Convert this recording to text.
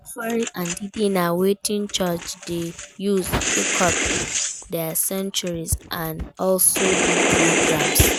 Offerings and tithe na wetin church de use equip their sanctuary and also do programs